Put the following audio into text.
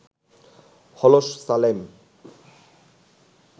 হলো সালেম